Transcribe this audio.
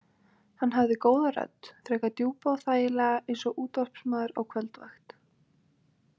Hann hafði góða rödd, frekar djúpa og þægilega eins og útvarpsmaður á kvöldvakt.